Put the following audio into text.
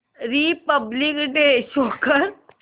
Republic day show कर